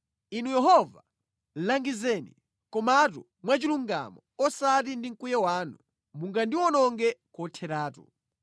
Inu Yehova, langizeni, komatu mwachilungamo, osati ndi mkwiyo wanu, mungandiwononge kotheratu.